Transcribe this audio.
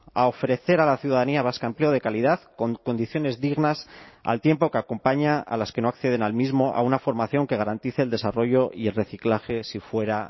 a ofrecer a la ciudadanía vasca empleo de calidad con condiciones dignas al tiempo que acompaña a las que no acceden al mismo a una formación que garantice el desarrollo y el reciclaje si fuera